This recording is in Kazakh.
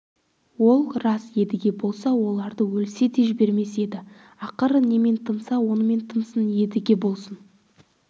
ол рас едіге болса оларды өлсе де жібермес еді ақыры немен тынса онымен тынсын едіге болса